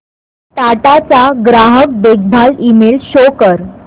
टाटा चा ग्राहक देखभाल ईमेल शो कर